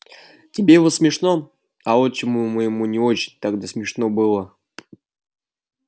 тебе вот смешно а отчиму моему не очень тогда смешно было